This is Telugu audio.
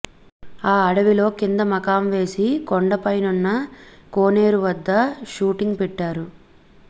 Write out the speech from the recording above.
ఆ అడవిలో కింద మకాం వేసి కొండపైనున్న కోనేరువద్ద షూటింగ్ పెట్టారు